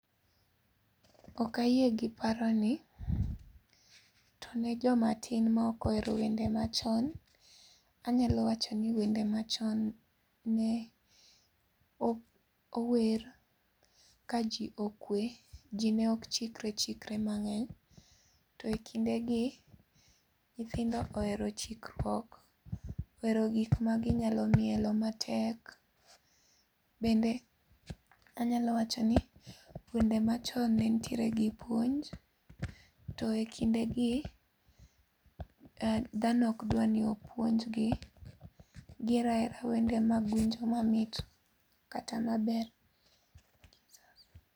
Ok ayie gi paroni, to ne jomatin maok ohero wende machon. Anyalo wacho ni wende machon ne ower kaji okwe. Ji ne ok chikre chikre mang'eny. To e kindegi, nyithindo ohero chikruok, ohero gik maginyalo mielo matek. Bende anyalo wacho ni wende machon ne nitiere gi puonj to ekindegi dhano ok dwa ni opuonjgi. Gihero ahera wende mag hunjo mamit kata maber.